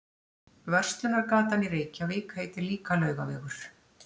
Verslunargatan í Reykjavík heitir líka Laugavegur.